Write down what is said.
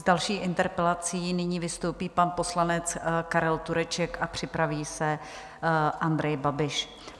S další interpelací nyní vystoupí pan poslanec Karel Tureček a připraví se Andrej Babiš.